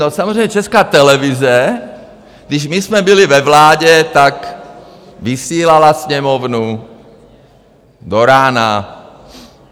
No, samozřejmě Česká televize, když my jsme byli ve vládě, tak vysílala Sněmovnu do rána.